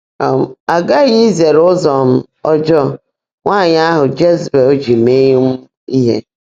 um A ghaghị izere ụzọ um ọjọọ “nwanyị ahụ Jezibel” ji mee um ihe